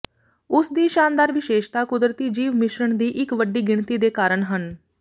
ਉਸ ਦੀ ਸ਼ਾਨਦਾਰ ਵਿਸ਼ੇਸ਼ਤਾ ਕੁਦਰਤੀ ਜੀਵ ਮਿਸ਼ਰਣ ਦੀ ਇੱਕ ਵੱਡੀ ਗਿਣਤੀ ਦੇ ਕਾਰਨ ਹਨ